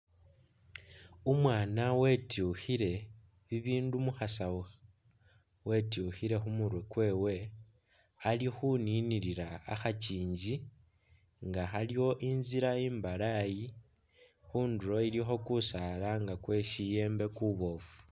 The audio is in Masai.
Umwana wetyukhile bibindu mukhasawu wetyukhile khumutwe kwewe alikhuninila khakyingi nga khaliwo inzila imbalayi khunduro iliko kusaala nga kwekyiyembe kubofu.